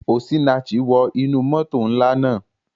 Osinachi wọ inú moto nla naa.